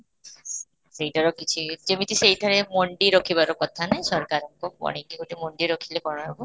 ସେଇଟାର କିଛି ଯେମିତି ସେଇଠାର ମଣ୍ଡି ରଖିବାର କଥା ନାହିଁ ସରକାରଙ୍କ କି ଗୋଟେ ମଣ୍ଡି ରଖିଲେ କ'ଣ ହେବ